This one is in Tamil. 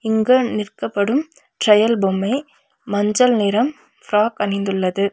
இங்கு நிற்கப்படும் ட்ரையல் பொம்மை மஞ்சள் நிறம் ஃப்ராக் அணிந்துள்ளது.